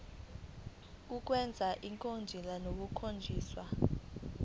kwenziwa ngcono kukhonjiswa